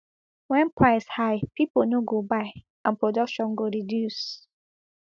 wen price high pipo no go buy and production go reduce